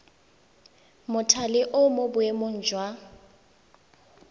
mothale o mo boemong jwa